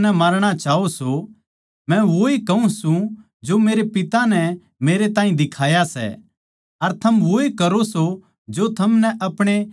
मै वोए कहूँ सूं जो मेरे पिता नै मेरे ताहीं दिखाया सै अर थम वोए करो सों जो थारे पिता तै थमनै सुण्या सै